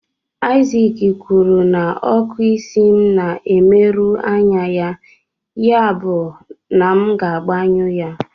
Isaac kwuru na ọkụ isi m na-emerụ anya ya, yabụ na m ga-agbanyụ ya.